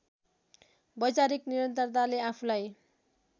वैचारिक निरन्तरताले आफूलाई